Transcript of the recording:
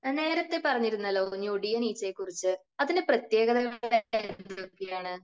നേരത്തെ പറഞ്ഞിരുന്നല്ലോ ഞൊടിയൻ ഈച്ചകളെക്കുറിച്ച്. അതിന്റെ പ്രത്യേകതകൾ എന്തൊക്കെയാണ്?